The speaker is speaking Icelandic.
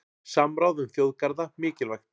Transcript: Samráð um þjóðgarða mikilvægt